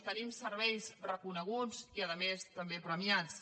tenim serveis reconeguts i a més també premiats